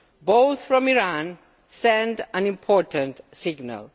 both from Iran sends an important signal.